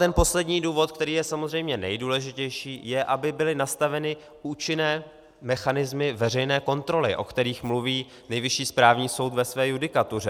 Ten poslední důvod, který je samozřejmě nejdůležitější, je, aby byly nastaveny účinné mechanismy veřejné kontroly, o kterých mluví Nejvyšší správní soud ve své judikatuře.